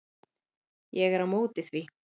Ég er á móti því.